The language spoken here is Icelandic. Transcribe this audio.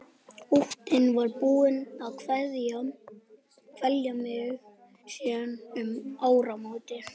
Óttinn var búinn að kvelja mig síðan um áramót.